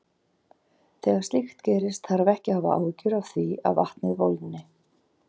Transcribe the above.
Þegar slíkt gerist þarf ekki að hafa áhyggjur af því að vatnið volgni.